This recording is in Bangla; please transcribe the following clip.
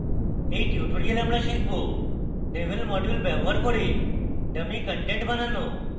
in tutorial আমরা শিখব devel module ব্যবহার করে dummy content বানানো